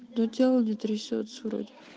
но тело не трясётся вроде